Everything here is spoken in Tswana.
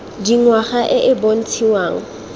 ya dingwaga e e bontshiwang